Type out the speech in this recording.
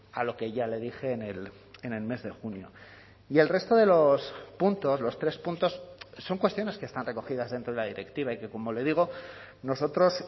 a lo que ya le dije en el mes de junio y el resto de los puntos los tres puntos son cuestiones que están recogidas dentro de la directiva y que como le digo nosotros